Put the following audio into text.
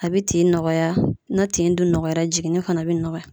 A be tin nɔgɔya na tin dun nɔgɔyara jiginni fana be nɔgɔya.